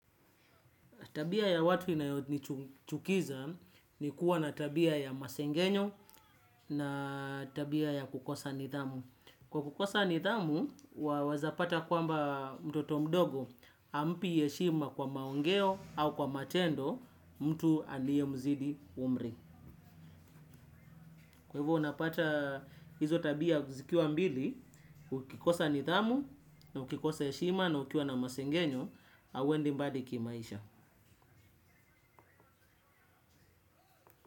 Tabia ya watu inayo nichukiza ni kuwa na tabia ya masengenyo na tabia ya kukosa nithamu. Kwa kukosa nithamu, wawezapata kwamba mtoto mdogo hampi heshima kwa maongeo au kwa matendo mtu aliye mzidi umri. Kwa hivyo unapata hizo tabia zikiwa mbili, ukikosa nithamu, na ukikosa heshima na ukiwa na masengenyo, hauendi mbali kimaisha.